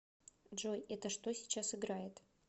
джой это что сейчас играет